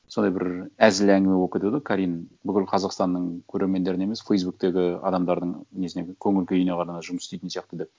сондай бір әзіл әңгіме болып кетеді ғой карим бүкіл қазақстанның көрермендеріне емес фейсбуктегі адамдардың несіне көңіл күйіне ғана жұмыс істейтін сияқты деп